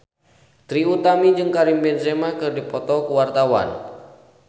Trie Utami jeung Karim Benzema keur dipoto ku wartawan